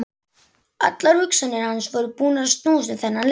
Allar hugsanir hans voru búnar að snúast um þennan leik.